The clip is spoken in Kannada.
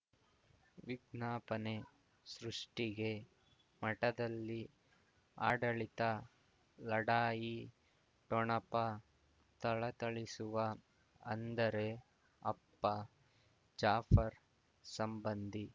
ವಿಜ್ಞಾಪನೆ ಸೃಷ್ಟಿಗೆ ಮಠದಲ್ಲಿ ಆಡಳಿತ ಲಢಾಯಿ ಠೊಣಪ ಥಳಥಳಿಸುವ ಅಂದರೆ ಅಪ್ಪ ಜಾಫರ್ ಸಂಬಂಧಿ